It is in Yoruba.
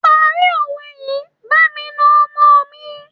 Parí òwe yìí, bàbá mi na ọmọ mi.